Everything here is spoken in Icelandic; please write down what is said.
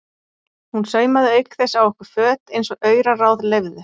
Hún saumaði auk þess á okkur föt eins og auraráð leyfðu.